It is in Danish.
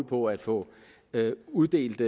på at få uddelt